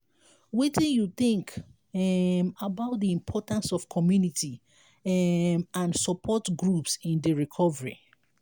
wetin you think um about di importance of community um and support groups in di recovery?